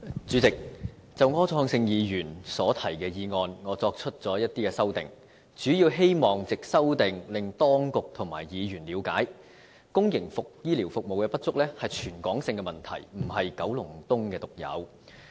主席，就柯創盛議員所提的議案，我作出了一些修訂，主要希望藉修訂令當局和議員了解，公營醫療服務不足是全港的問題，並非九龍東獨有。